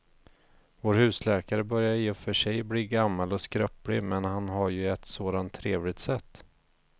Vår husläkare börjar i och för sig bli gammal och skröplig, men han har ju ett sådant trevligt sätt!